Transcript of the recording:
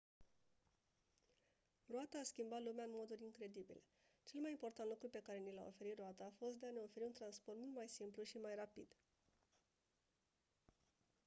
roata a schimbat lumea în moduri incredibile cel mai important lucru pe care ni l-a oferit roata a fost de a ne oferi un transport mult mai simplu și mai rapid